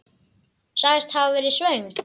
Sagðist hafa verið svöng.